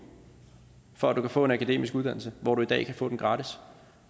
for at du kan få en akademisk uddannelse hvor du i dag kan få en gratis